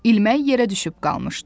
İlmək yerə düşüb qalmışdı.